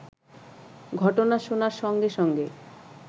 ঘটনা শোনার সঙ্গে সঙ্গে